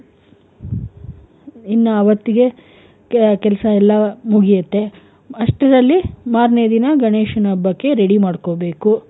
ಇನ್ನ ಅವತ್ತಿಗೆ ಕೆಲ್ಸ ಎಲ್ಲಾ ಮುಗಿಯುತ್ತೆ, ಅಷ್ಟರಲ್ಲಿ ಮಾರ್ನೆ ದಿನ ಗಣೇಶನ ಹಬ್ಬಕ್ಕೆ ready ಮಾಡ್ಕೋಬೇಕು.